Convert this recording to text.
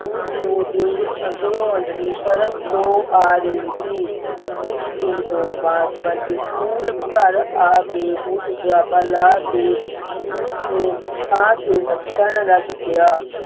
ਉਸ ਨੂੰ ਦੂਰ ਅੰਦਰੋ ਅੰਦਰੀ ਸ਼ਰਮ ਜਿਹੀ ਆ ਰਹੀ ਸੀ ਉਸ ਦਿਨ ਤੋਂ ਬਾਅਦ ਬੰਟੀ school ਘਰ ਆ ਕੇ boot ਜੁਰਾਬਾਂ ਲਾਹ ਕੇ ਉਸ ਨੂੰ ਥਾਵ ਤੇ ਰੱਖਣ ਲੱਗ ਪਿਆ